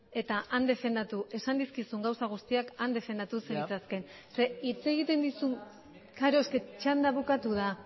eta han defendatu esan dizkizun gauza guztiak han defendatu zenitzakeen klaro txanda bukatu da